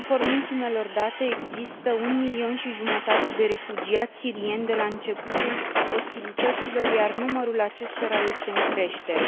Conform ultimelor date, există un milion și jumătate de refugiați sirieni de la începutul ostilităților, iar numărul acestora este în creștere.